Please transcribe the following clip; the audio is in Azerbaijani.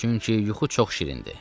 Çünki yuxu çox şirindir.